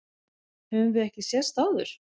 Höfum við ekki sést áður?